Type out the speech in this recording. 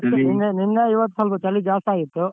ನೆನ್ನೆ ಇವತ್ತು ಸ್ವಲ್ಪ ಚಳಿ ಜಾಸ್ತೇ ಆಗಿತ್ತು.